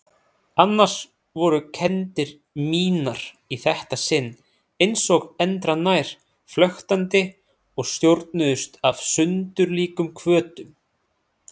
Annars voru kenndir mínar í þetta sinn einsog endranær flöktandi og stjórnuðust af sundurlíkum hvötum.